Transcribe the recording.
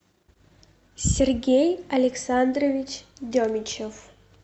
сергей александрович демичев